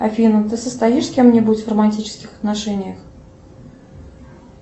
афина ты состоишь с кем нибудь в романтических отношениях